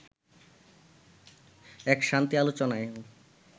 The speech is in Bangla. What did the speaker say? এক শান্তি আলোচনায়ও